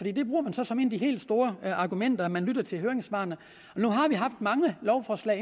det bruger man så som et af de helt store argumenter nemlig at man lytter til høringssvarene nu har vi haft mange lovforslag